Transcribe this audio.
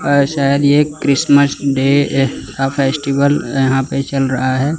अ शायद ये Christmas day का फेस्टिवल यहां पे चल रहा है।